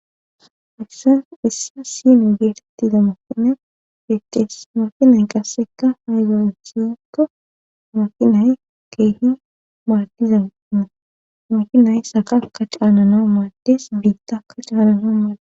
issa issa sini geetettida maqina fetes makinay qasseka haygoonsikko makinay keehi maladizanna makinay sakaka caanana maades biittakka caanana maada